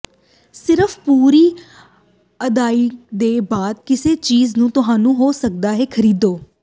ਸਿਰਫ ਪੂਰੀ ਅਦਾਇਗੀ ਦੇ ਬਾਅਦ ਕਿਸੇ ਚੀਜ਼ ਨੂੰ ਤੁਹਾਨੂੰ ਹੋ ਸਕਦਾ ਹੈ ਖਰੀਦੋ